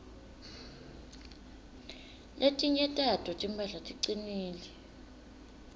letinye tato timphahla ticinile